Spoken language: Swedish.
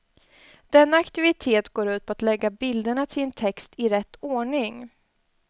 Denna aktivitet går ut på att lägga bilderna till en text i rätt ordning.